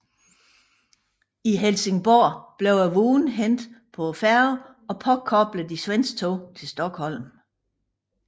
I Helsingborg blev vognene hentet på færgen og påkoblet de svenske tog til Stockholm